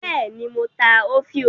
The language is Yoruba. Bẹ́ẹ̀ ni, mo ta òfiò.